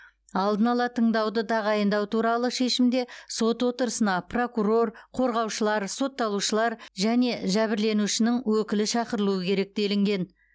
алдын ала тыңдауды тағайындау туралы шешімде сот отырысына прокурор қорғаушылар сотталушылар және жәбірленушінің өкілі шақырылуы керек делінген